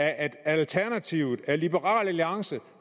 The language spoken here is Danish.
alternativet liberal alliance